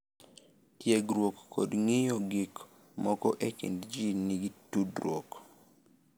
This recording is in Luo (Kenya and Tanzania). tiegruok kod ng’iyo gik moko e kind ji nigi tudruok.